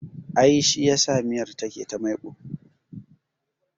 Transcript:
I, shi yasa miyar tana da maiƙo